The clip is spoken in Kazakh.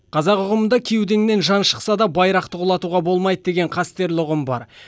қазақ ұғымында кеудеңнен жан шықса да байрақты құлатуға болмайды деген қастерлі ұғым бар